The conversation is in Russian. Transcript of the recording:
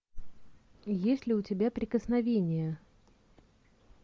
есть ли у тебя прикосновение